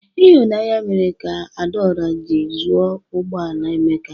Ịhụnanya mere ka Adaora ji zụo ụgbọ ala Emeka.